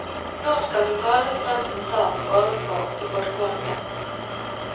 Nå skal hun tale studentenes sak ovenfor de folkevalgte.